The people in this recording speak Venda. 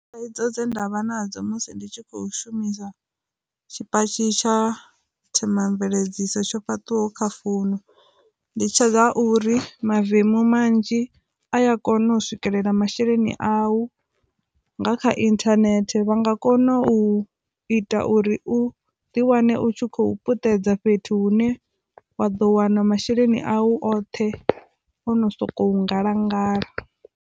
Thaidzo dze ndavha nadzo musi ndi tshi khou shumisa tshipatshi tsha themamveledziso tsho fhaṱwaho kha founu ndi tshedza uri mavemu manzhi a ya kona u swikelela masheleni au nga kha inthanethe vha nga kona u ita uri u ḓi wane u khou puṱedza fhethu hu ne wa ḓo wana masheleni awu oṱhe o no sokou ngalangala.